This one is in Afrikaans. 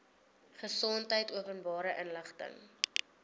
gesondheid openbare inligting